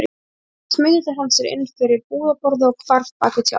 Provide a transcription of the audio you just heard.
Síðan smeygði hann sér inn fyrir búðarborðið og hvarf bak við tjald.